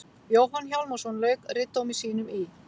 Jóhann Hjálmarsson lauk ritdómi sínum í